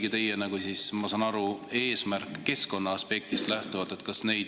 Kas see oligi teie, ma saan aru, eesmärk keskkonnaaspektist lähtuvalt?